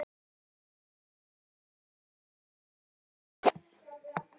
Hann er að setja í vélina, segi ég ögn hátíðlega.